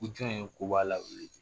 Ko jɔn ye koba lawuli bi